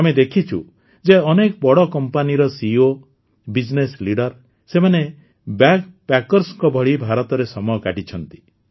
ଆମେ ଦେଖିଛୁ ଯେ ଅନେକ ବଡ଼ କମ୍ପାନୀର ସିଇଓ ବିଜିନେସ୍ ଲିଡର୍ ସେମାନେ ବ୍ୟାଗ୍ପ୍ୟାକର୍ସଙ୍କ ଭଳି ଭାରତରେ ସମୟ କାଟିଛନ୍ତି